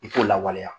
I k'o lawaleya